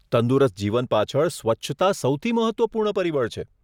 તંદુરસ્ત જીવન પાછળ સ્વચ્છતા સૌથી મહત્વપૂર્ણ પરિબળ છે.